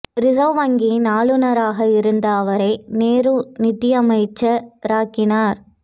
reserve வங்கியின் ஆளுநராக இருந்த அவரை நேரு நிதியமைச்ச ராக்கினார்